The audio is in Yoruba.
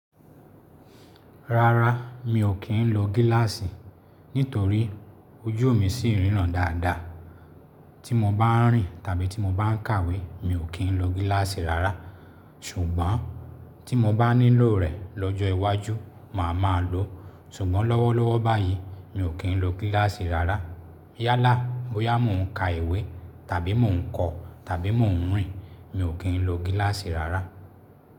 Rárá, mi ò kí ń lo gíláàsì nítorí ojú mi ṣì ríran dáadáa. Tí mo bá ń rìn tàbí tí mo bá ń kàwé mi ò kí ń lo gíláàsì rárá. Ṣùgbọ́n tí mo bá nílò rẹ̀ lọ́jọ́ iwájú, màá máa lò ó. Ṣùgbọ́n lọ́wọ́lọ́wọ́ báyìí, mi ò kí ń lo gíláàsì rárá. Yálà bóyá mò ń ka ìwé, tàbí mò ń kọ, tàbí mò ń rìn, mi ò kí ń lo gíláàsì rárá.